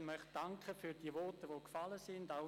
Ich möchte für die Voten, die gefallen sind, danken.